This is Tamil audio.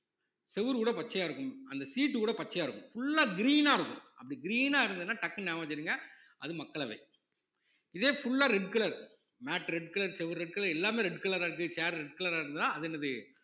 செவுரு கூட பச்சையா இருக்கும் அந்த சீட்டு கூட பச்சையா இருக்கும் full அ green ஆ இருக்கும் அப்படி green ஆ இருந்ததுன்னா டக்குனு ஞாபகம் வச்சிடுங்க அது மக்களவை இதே full ஆ red colour mat red colour செவுரு red colour எல்லாமே red colour ஆ இருக்கு chair red colour ஆ இருந்ததுன்னா அது என்னது